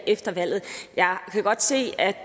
efter valget jeg kan godt se at